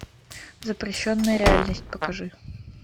запрещенная реальность покажи